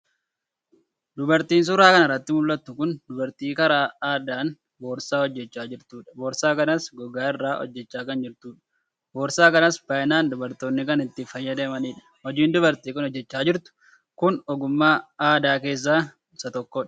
Dubartiin suura kana irratti mul'attu kun duabrtii karaa aadaan boorsaa hojjechaa jirtudha. Boorsaa kanas gogaa irraa hojjechaa kan jirtudha. Boorsaa kanas baay'inaan dubartoonni kan itti fayyadamanidha. Hojiin dubartiin kun hojjechaa jirtu kun ogummaa aadaa keessaa isa tokkodha.